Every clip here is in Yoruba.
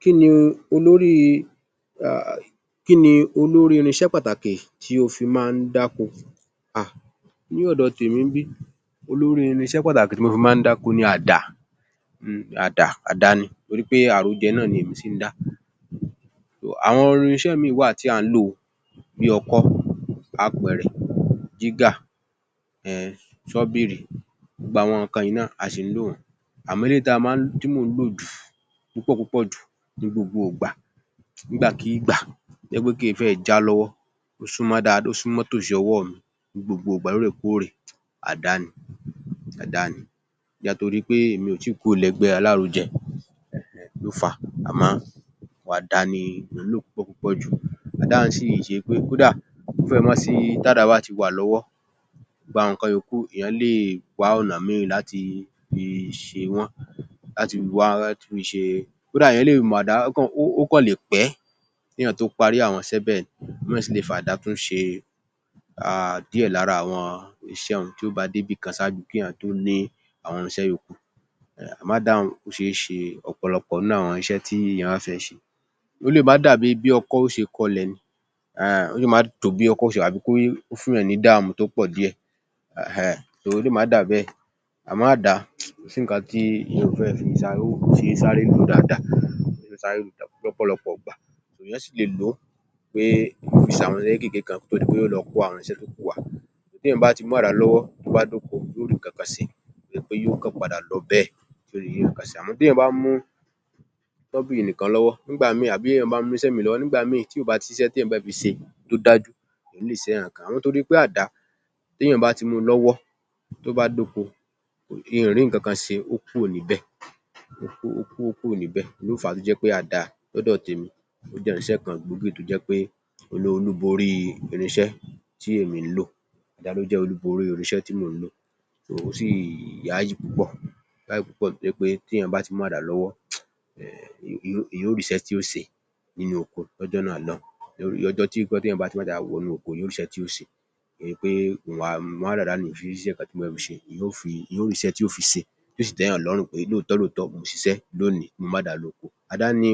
Kí ni olórí-ìrinṣẹ́ pàtàkì tí o fí máa ń dáko? Nih ọ̀dọ tèmi ń bí olórí irinṣẹ́ pàtàkì tí mo fí máa ń dáko ni àdá nítorí àrojẹ àrojẹ náà ni èmi ń ṣẹ. Àwọn irinṣẹ́ mìíràn tí à ń lò bí ọkọ́, apẹ̀rẹ̀, jígà, sọ́bìrì, gbogbo àwọn nǹkan yìí náà a ṣì ń lò wọ́n. Àmọ́ eléyìí tí mò ń lò jù púpọ̀ púpọ̀ jù; ní gbogbo ìgbà; nígbàkúùgbà tó jẹ́ kìí fẹ́ẹ̀ẹ́ já lówọ́; ó súnmọ́ tò sí ọwọ́ mi; ní gbogbo ìgbà; lohòrèkóòrè àdá ni. Bóyá nítorí pe èmi ò tíì kúrò lẹ́gbẹ́ alárojẹ ló fàá. Àmọ́ àdá ni mò ń lò púpọ̀ púpọ̀ jù. Àdá un sì ṣe pé kódà kò ó fẹ́ẹ̀ẹ́ má sìí tádàá hun bá ti wà lọ́wọ́ gbogbo àwọn nǹkan yòókù èèyàn le wá ọ̀nà míì láti fi ṣẹ wọ́n. Láti wá, láti fi ṣe. Kódà èèyàn le lo àdá. Ó kan le pẹ́ kéèyàñ tó parí àwọn iṣẹ́ bẹ́ẹ̀. Èèyàn le tún fi àdá ṣe díẹ̀ lára àwọn iṣẹ́ un tó bá dé ìbi kan ṣáájú kéẹ̀yàn tó ní irinṣe yòókù. Àmọ́ àdá un, ó ṣe é ṣe ọ̀pọ̀lọpọ̀ nínú àwọn iṣẹ́ tí wọ́n fẹ́ ṣẹ. Ó le má dàbí ọkọ́ ó ṣe kọ ilẹ̀. Ó le má dàbẹ́ẹ̀ tàbí kó fún-ùnyàn ní ìdààmú tó pọ̀ díẹ̀ torí ó le má dàbẹ́ẹ̀. Àmọ́ àdá kò sí nǹkan tí èèyàn ò fẹ́ẹ̀ fi ṣe. Ó ṣe é sáré lò dáadáa. Ó ṣe é sáré lò lọ́pọ̀lọpọ̀ ìgbà. Èèyàn sì le lò ó pé ó fi ṣe àwọn nǹkan kékéèké kan kó tó di pé yóò lọ kó àwọn irinṣẹ́ tó kò wá. Tí èèyàn bá ti mú àdá lọ́wọ́ tó bá ti dóko yóò rí nǹkan kan ṣe kìí ṣe pe yóó kàn padà lọ bẹ́ẹ̀. Téèyàn bá mú sọbírì yẹn nìkan lọ́wọ́, nígbà míì tàbí téèyan bá mú irinṣẹ́ míì lọ́wọ́, nígbà míì tí kò bá níṣẹ́ témi fẹ́ fi ṣe ó dájú n ò ní ríṣẹ́ kankan ṣe nítorí pé àdá téèyàn bá ti mú u lọ́wọ́ tó bá dóko, mi ǹ rí nǹkan kan ṣe ó kúrò níbẹ̀, ló fà á tó jẹ́ pe àdá lọ́dọ̀ tẹ̀mi ó jẹ ìrìṣẹ́ kan gbòógì tó jẹ́ pé òhun ló borí irinṣẹ́ tí èmi ńlò, òhun ló jẹ́ olùborí irinṣẹ́ tí èmi ńlò. Ó sì yáyì púpọ̀ nítorí wí pé téèyàñ bá ti mú àdá lọ́wọ́ èèyàñ ó rísẹ́ tí yó ṣe nínú oko lójọ́ náà lọ́ùn-ún. Lọ́jó tí èèyàn bá ti mú àdá wọnú oko yó rí ṣẹ́ tí yóò fi ṣe, kò ń ṣe pé màá mú àdá dání o ò ní ríṣẹ́ kan tí yóò fi ṣe. Èèyàn ó rí iṣẹ́ tí yóò fi ṣe tí yóò sì tẹ́yàn lọ́rùn pé lóòtọ́ lóòtọ́ o ṣiṣẹ́ lónìí ti h o mú àdá lọ oko. Àdá ni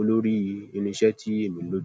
olórí ìrìnsẹ́ tí èmi ń lò.